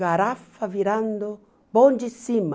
Garafa virando bondissima.